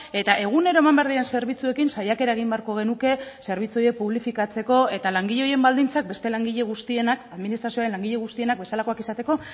eta egunero eman behar diren zerbitzuekin saiakera egin beharko genuke zerbitzu horiek publifikatzeko eta langile horien baldintzak beste langile guztienak administrazioaren langile guztienak bezalakoak izateko